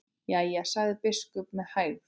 Jæja, sagði biskup með hægð.